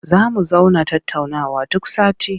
Za mu zauna tattaunawa duk sati.